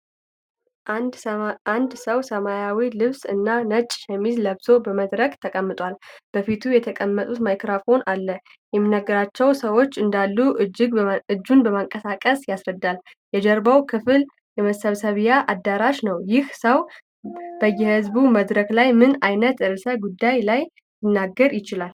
አንድ ሰው ሰማያዊ ልብስ እና ነጭ ሸሚዝ ለብሶ በመድረክ ተቀምቷል። በፊቱ የተቀመጠ ማይክሮፎን አለ፤ የሚያነጋግራቸው ሰዎች እንዳሉ እጁን በማንቀሳቀስ ያስረዳል። የጀርባው ክፍል የመሰብሰቢያ አዳራሽ ነው። ይህ ሰው በየሕዝብ መድረክላይ ምን ዓይነት ርዕሰ ጉዳይ ላይ ሊናገር ይችላል?